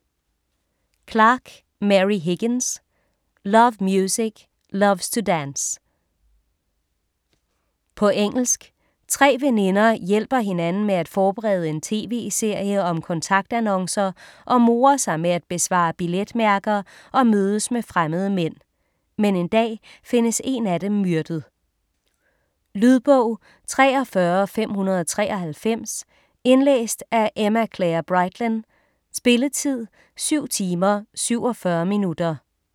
Clark, Mary Higgins: Loves music, loves to dance På engelsk. Tre veninder hjælper hinanden med at forberede en tv-serie om kontaktannoncer og morer sig med at besvare billetmærker og mødes med fremmede mænd. Men en dag findes en af dem myrdet. Lydbog 43593 Indlæst af Emma-Claire Brightlyn. Spilletid: 7 timer, 47 minutter.